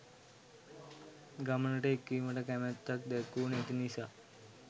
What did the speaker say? ගමනට එක්වීමට කැමැත්තක් දැක්වු නැති නිසා.